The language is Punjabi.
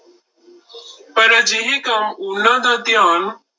ਪਰ ਅਜਿਹੇ ਕੰਮ ਉਹਨਾਂ ਦਾ ਧਿਆਨ